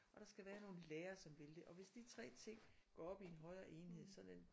Og der skal være nogle lærere som vil det og hvis de 3 ting går op i en højre enhed sådan en